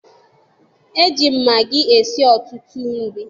E ji magị esi ọtụtụ nri